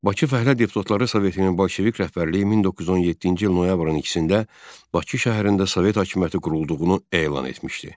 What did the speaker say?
Bakı fəhlə deputatları Sovetinin Bolşevik rəhbərliyi 1917-ci il noyabrın ikisində Bakı şəhərində Sovet hakimiyyəti qurulduğunu elan etmişdi.